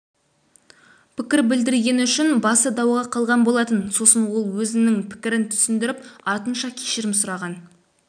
пікір білдіргені үшін басы дауға қалған болатын сосын ол өз пікірін түсіндіріп артынша кешірім сұраған